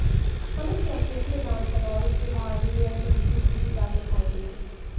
हम इस मसले को विधानसभा और उसके बाहर भी बेहद मजबूती के साथ उठाएंगे